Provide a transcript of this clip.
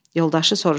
Yoldaşı soruşdu: